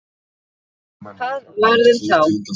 Hvað varð um þá?